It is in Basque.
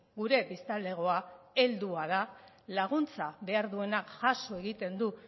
gure biztanlegoa heldua da laguntza behar duena jaso egiten du